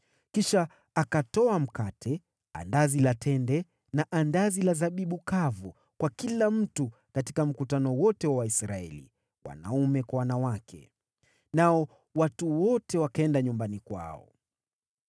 Kisha akatoa mkate, andazi la tende na andazi la zabibu kavu kwa kila mtu katika mkutano wote wa Waisraeli, wanaume kwa wanawake. Nao watu wote wakaenda nyumbani kwao.